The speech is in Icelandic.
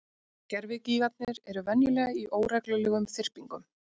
Gervigígarnir eru venjulega í óreglulegum þyrpingum.